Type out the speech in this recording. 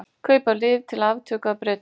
Kaupa lyf til aftöku af Bretum